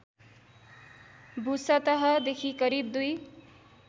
भूसतहदेखि करिब २